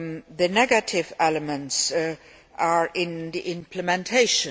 The negative elements are in the implementation.